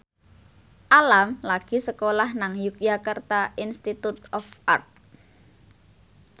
Alam lagi sekolah nang Yogyakarta Institute of Art